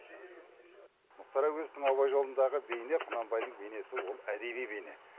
мұхтар әуезовтің абай жолындағы бейне құнанбайдың бейнесі ол әдеби бейне